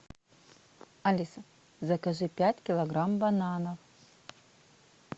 алиса закажи пять килограмм бананов